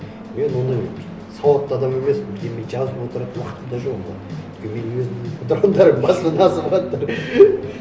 мен ондай сауатты адам емеспін бірдеңе жазып отырып уақытым да жоқ оған өйткені менің өзімнің қыдырғандарым басымнан азыватыр